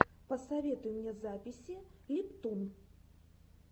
посоветуй мне записи липтун